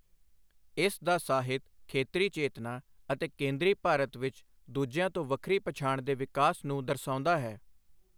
ਇਸ ਦਾ ਸਾਹਿਤ ਖੇਤਰੀ ਚੇਤਨਾ ਅਤੇ ਕੇਂਦਰੀ ਭਾਰਤ ਵਿੱਚ ਦੂਜਿਆਂ ਤੋਂ ਵੱਖਰੀ ਪਛਾਣ ਦੇ ਵਿਕਾਸ ਨੂੰ ਦਰਸਾਉਂਦਾ ਹੈ।